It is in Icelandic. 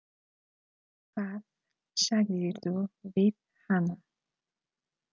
Hvað sagðirðu við hana?